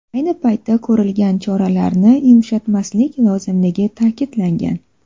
Ayni paytda ko‘rilgan choralarni yumshatmaslik lozimligi ta’kidlangan.